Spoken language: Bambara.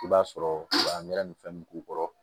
I b'a sɔrɔ anɛrɛ ni fɛn k'u kɔrɔ